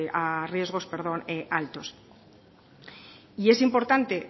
a riesgos altos y es importante